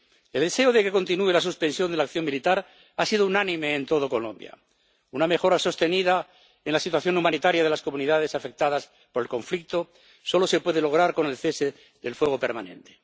El deseo de que continúe la suspensión de la acción militar ha sido unánime en toda Colombia. Una mejora sostenida en la situación humanitaria de las comunidades afectadas por el conflicto solo se puede lograr con el cese del fuego permanente.